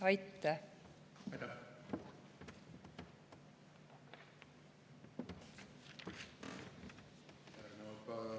Aitäh!